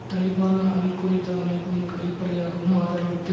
Taliban al Qaeda அமைப்புகளுக்கு வெளிப்படையாகவும் ஆதரவளித்த